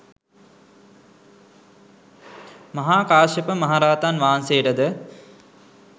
මහාකාශ්‍යප මහ රහතන් වහන්සේට ද